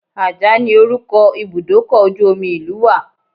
Ajah ni orúkọ Ibùdókọ̀ ojú omi ìlú wa.